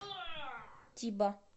тиба